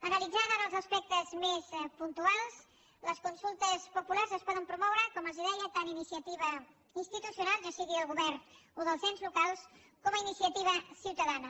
analitzant ara els aspectes més puntuals les consultes populars es poden promoure com els deia tant a iniciativa institucional ja sigui del govern o dels ens locals com a iniciativa ciutadana